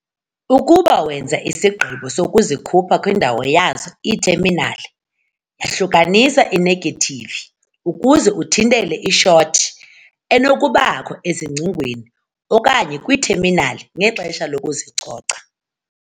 Ukuba wenza isigqibo sokuzikhupha kwindawo yazo iitheminali, yahlukanisa inegethivi ukuze uthintele i-short enokubakho ezingcingweni okanye kwiitheminali ngexesha lokuzicoca.